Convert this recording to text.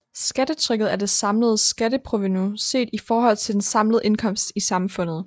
Skattetrykket er det samlede skatteprovenu set i forhold til den samlede indkomst i samfundet